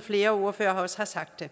flere ordførere også har sagt